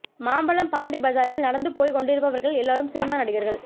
மாம்பலம் பாண்டி பஜாரில் நடந்து போய்க் கொண்டிருப்பவர்கள் எல்லாரும் சினிமா நடிகர்கள்